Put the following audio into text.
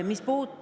Mis puutub …